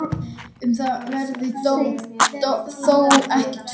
Um það verður þó ekkert fullyrt.